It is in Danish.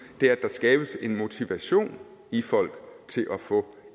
er at der skabes en motivation i folk til at få